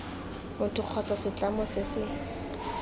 motho kgotsa setlamo se se